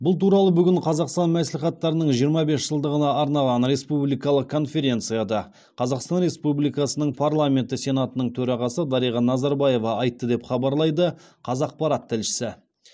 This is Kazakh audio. бұл туралы бүгін қазақстан мәслихаттарының жиырма бес жылдығына арналған республикалық конференцияда қазақстан республикасының парламенті сенатының төрағасы дариға назарбаева айтты деп хабарлайды қазақпарат тілшісі